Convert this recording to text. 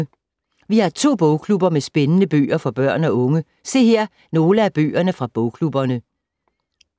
Vi har to bogklubber med spændende bøger for børn og unge. Se her nogle af bøgerne fra bogklubberne.